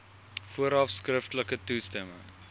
vooraf skriftelik toestemming